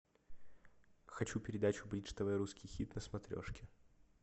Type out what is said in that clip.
хочу передачу бридж тв русский хит на смотрешке